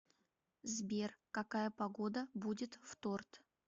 сбер какая погода будет в торт